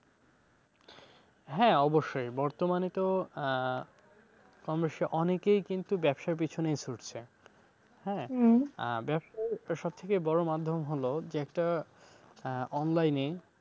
হ্যাঁ, অবশ্যই বর্তমানে তো আহ কম বেশি অনেকেই কিন্তু ব্যবসার পিছনে ছুটছে ব্যবসায় সবথেকে বড় মাধ্যম হলো যে একটা আহ online এ,